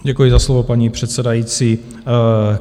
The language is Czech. Děkuji za slovo, paní předsedající.